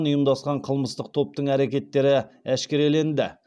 ұйымдасқан қылмыстық топтың әрекеттері әшкереленді